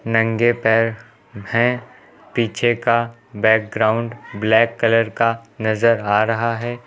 नंगे पैर हैं पीछे का बैकग्राउंड ब्लैक कलर का नजर आ रहा है।